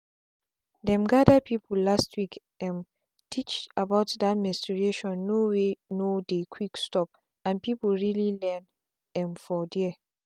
them gather people last week um teach about that mensuration no wey no dey quick stop and people really learn um for there.